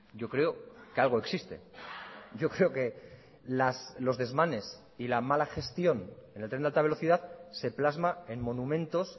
yo creo que algo existe yo creo que los desmanes y la mala gestión en el tren de alta velocidad se plasma en monumentos